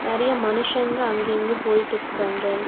நெறய மனுஷங்க அங்க இங்க போய்ட்டு இருக்காங்க.